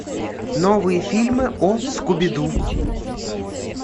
новые фильмы о скуби ду